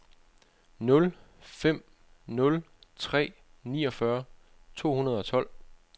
nul fem nul tre niogfyrre to hundrede og tolv